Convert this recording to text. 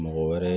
Mɔgɔ wɛrɛ